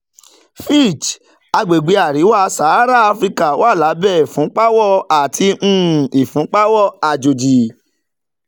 fitch: àgbègbè àríwá-sahara áfíríkà wà lábẹ́ ìfúnpáwọ́ àti um ìfúnpáwọ́ àjòjì